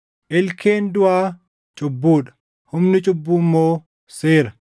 Ilkeen duʼaa cubbuu dha; humni cubbuu immoo seera.